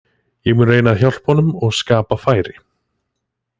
Ég mun reyna að hjálpa honum og skapa færi.